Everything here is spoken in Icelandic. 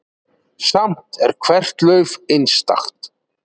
Samt er hvert lauf einstakt.